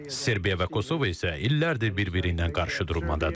Serbiya və Kosovo isə illərdir bir-biriylə qarşıdurmadadır.